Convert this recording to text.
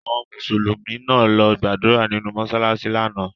Àwọn Mùsùlùmí náà lọ gbàdúrà nìnu mọsalasi lánàá.